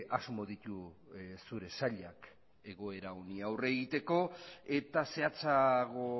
asmo ditu zure sailak egoera honi aurre egiteko eta zehatzago